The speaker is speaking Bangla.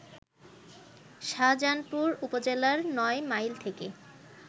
শাজাহানপুর উপজেলার নয় মাইল থেকে